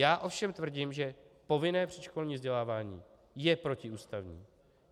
Já ovšem tvrdím, že povinné předškolní vzdělávání je protiústavní.